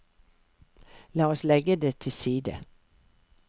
La oss legge det til side.